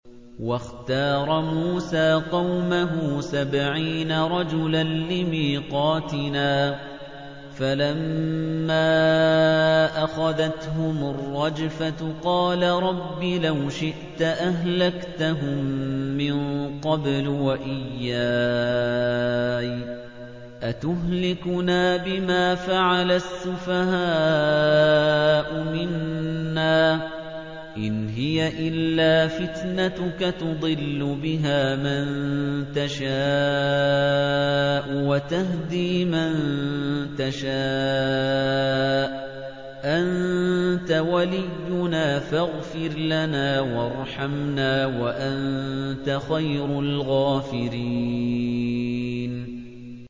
وَاخْتَارَ مُوسَىٰ قَوْمَهُ سَبْعِينَ رَجُلًا لِّمِيقَاتِنَا ۖ فَلَمَّا أَخَذَتْهُمُ الرَّجْفَةُ قَالَ رَبِّ لَوْ شِئْتَ أَهْلَكْتَهُم مِّن قَبْلُ وَإِيَّايَ ۖ أَتُهْلِكُنَا بِمَا فَعَلَ السُّفَهَاءُ مِنَّا ۖ إِنْ هِيَ إِلَّا فِتْنَتُكَ تُضِلُّ بِهَا مَن تَشَاءُ وَتَهْدِي مَن تَشَاءُ ۖ أَنتَ وَلِيُّنَا فَاغْفِرْ لَنَا وَارْحَمْنَا ۖ وَأَنتَ خَيْرُ الْغَافِرِينَ